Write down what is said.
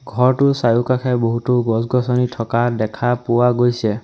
ঘৰটোৰ চাৰিওকাষে বহুতো গছ গছনি থকা দেখা পোৱা গৈছে।